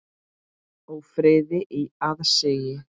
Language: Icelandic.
Ófriði í aðsigi.